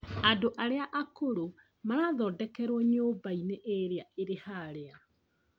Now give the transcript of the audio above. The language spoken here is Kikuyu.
Andũ arĩa akũrũ marathondokerwo nyũmbainĩ ĩrĩa ĩrĩ harĩa